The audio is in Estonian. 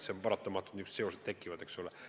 On paratamatu, et sellised seosed tekivad, eks ole.